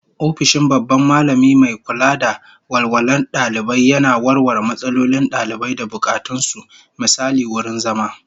Ofishin babban Mallami mai kula da walwalar dalibai yana warware matsalolin dalibai da bukatun su, misali wurin zama